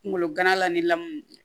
Kunkolo gana la ni lamu